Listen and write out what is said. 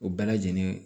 O bɛɛ lajɛlen